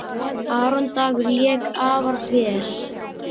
Aron Dagur lék afar vel.